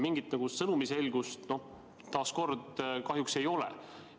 Mingit sõnumi selgust taas kord kahjuks ei ole.